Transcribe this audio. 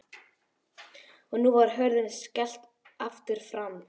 Og nú var hurð skellt aftur frammi.